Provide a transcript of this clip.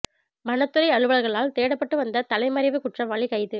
வனத்துறை அலுவலர்களால் தேடப்பட்டு வந்த தலைமறைவு குற்றவாளி கைது